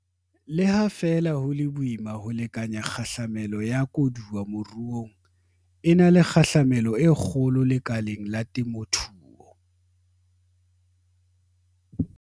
Le ha feela ho le boima ho lekanya kgahlamelo ya koduwa moruong, e na le kgahlamelo e kgolo lekaleng la temothuo.